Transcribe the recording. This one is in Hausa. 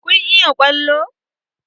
Kun iya ƙwallo?